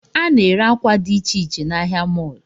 A na-ere akwa dị icheiche n'ahịa mọlụ